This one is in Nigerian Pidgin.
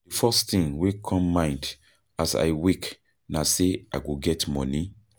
Di first tin wey come mind as I wake na sey I no get moni.